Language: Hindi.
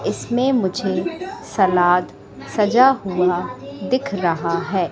इसमें मुझे सलाद सजा हुआ दिख रहा है।